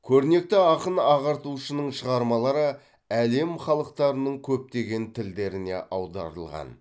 көрнекті ақын ағартушының шығармалары әлем халықтарының көптеген тілдеріне аударылған